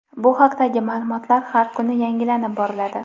Bu haqdagi ma’lumotlar har kuni yangilanib boriladi.